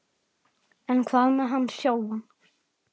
En hvað með hann sjálfan?